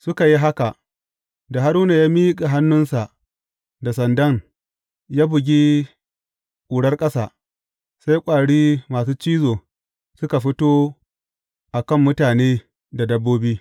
Suka yi haka, da Haruna ya miƙa hannunsa da sandan, ya bugi ƙurar ƙasa, sai ƙwari masu cizo suka fito a kan mutane da dabbobi.